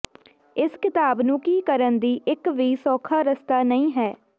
ਇਸ ਕਿਤਾਬ ਨੂੰ ਕੀ ਕਰਨ ਦੀ ਇੱਕ ਵੀ ਸੌਖਾ ਰਸਤਾ ਨਹੀ ਹੈ